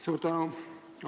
Suur tänu!